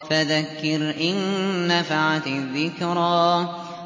فَذَكِّرْ إِن نَّفَعَتِ الذِّكْرَىٰ